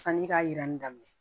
Sani k'a yira ni daminɛ